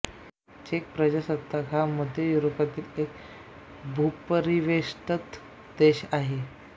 check प्रजासत्ताक हा मध्य युरोपातील एक भूपरिवेष्ठित देश आहे